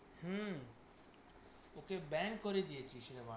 হম bank করে দিয়েছিস রে।